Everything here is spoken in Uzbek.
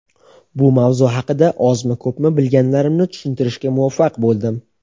bu mavzu haqida ozmi ko‘pmi bilganlarimni tushuntirishga muvaffaq bo‘ldim.